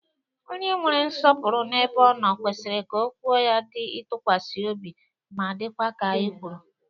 Onye e nwere nsopuru n'ebe o no kwesiri ka okwu ya di itukwasi obi ma dikwa ka e kwuru.